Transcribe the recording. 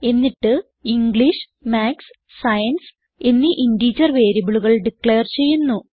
എന്നിട്ട് English maths science എന്നീ integer വേരിയബിളുകൾ ഡിക്ലയർ ചെയ്യുന്നു